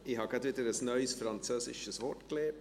Ich habe wieder ein neues französisches Wort gelernt: